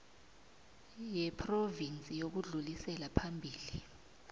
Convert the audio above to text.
yephrovinsi yokudlulisela phambili